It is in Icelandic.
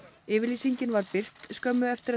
yfirlýsingin var birt skömmu eftir að